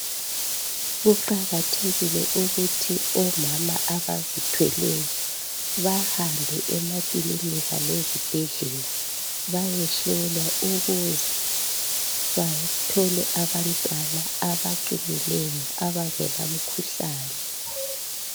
Kuqakathekile ukuthi omama abazithweleyo bahambe emakilinika ezibhedlela bayehlolwa ukuze bathole abantwana abaqinileyo abangelamkhuhlane.